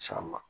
San ma